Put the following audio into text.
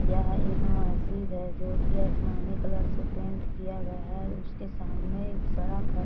यह एक मस्जिद है जो की आसमानी कलर से पेंट किया गया है उसके सामने एक सड़क है